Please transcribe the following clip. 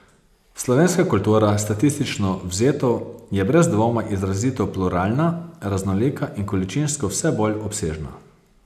Slovenska kultura, statistično vzeto, je brez dvoma izrazito pluralna, raznolika in količinsko vse bolj obsežna.